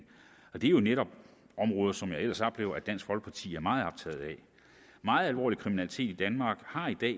og det er jo netop områder som jeg ellers oplever at dansk folkeparti er meget optaget af meget alvorlig kriminalitet i danmark har i dag